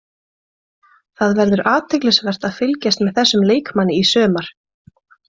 Það verður athyglisvert að fylgjast með þessum leikmanni í sumar.